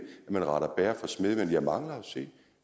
at man retter bager for smed og jeg mangler at se